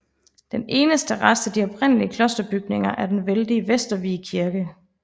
Den eneste rest af de oprindelig klosterbygninger er den vældige Vestervig Kirke